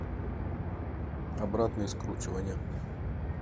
обратные скручивания